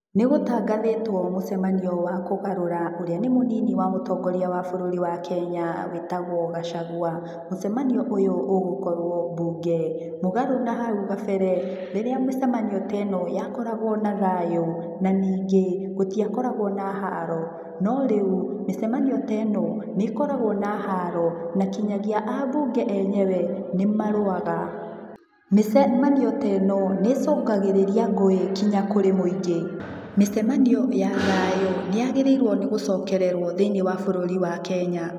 Nĩgũtangathĩtwo mũcemanio wa kũgarũra ũrĩa nĩ mũnini wa mũtongoria wa bũrũri wa Kenya, wĩtagwo Gachagua. Mũcemanio ũyũ ũgũkorwo bunge. Mũgarũ nahaũ gabere, rĩrĩa mĩcamanio teeno ya koragwo na thayu, na ningĩ, gũtiakoragwo na haro. No rĩu, mĩcemanio teeno, nĩ ĩkoragwo na haro, na kinyagia a bunge enyewe, nĩ marũaga. Mĩcemanio teeno nĩ ĩcũngagĩrĩrĩa ngũĩ kinya kũrĩ mũingĩ. Mĩcemanio ya thayũ nĩ yagĩrĩirwo nĩ gũcokererwo thĩiniĩ wa bũrũri wa Kenya.